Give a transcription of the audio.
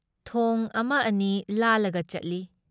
ꯊꯣꯡ ꯑꯃ ꯑꯅꯤ ꯂꯥꯜꯂꯒ ꯆꯠꯂꯤ ꯫